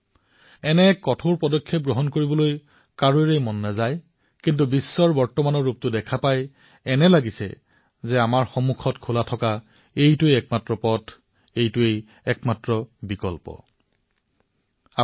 কোনেও এই পদক্ষেপৰ বাবে ৰাজী নহয় কিন্তু বিশ্বৰ বিভিন্ন প্ৰান্তৰ অৱস্থা পৰিলক্ষিত কৰিলে এয়াই সঠিক এক পথ যেন ভাৱ হয়